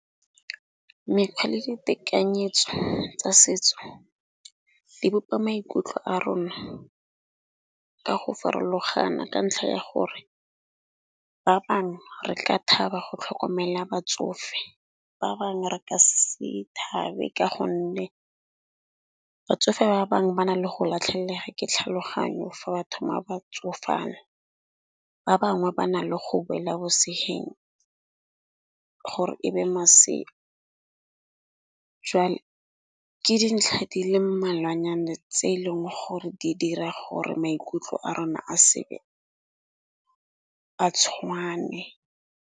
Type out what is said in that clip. Mekgwa le ditekanyetso tsa setso di bopa maikutlo a rona ka go farologana, ka ntlha ya gore ba bangwe re ka thaba go tlhokomela batsofe, ba bangwe re ka se thabe. Ka gonne batsofe ba bangwe ba na le go latlhegella ke tlhaloganyo fa ba thoma ba batsofala. Ba bangwe ba na le go boela bosegeng gore e be maseru, jwale ke dintlha di le mmalwa nnyana tse eleng gore di dira gore maikutlo a rona a sebe a tshwane.